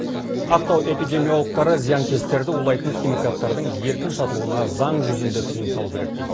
ақтау эпидемиологтары зиянкестерді улайтын химикаттардың еркін сатылуына заң жүзінде тиым салу керек дейді